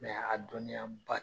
a dɔnniya ba